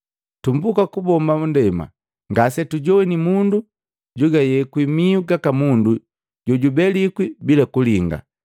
Tumbuka kubomba nndema ngasetujowini mundu jugayekwi mihu gaka mundu jojubelikwi bila kulinga.